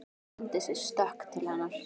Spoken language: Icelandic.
Hann tók undir sig stökk til hennar.